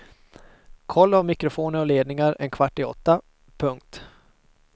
Koll av mikrofoner och ledningar en kvart i åtta. punkt